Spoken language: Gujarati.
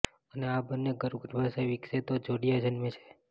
અને આ બંને ગર્ભ ગર્ભાશયમાં વિકસે તો જોડિયાં જન્મે છે